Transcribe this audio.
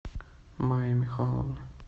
майи михайловны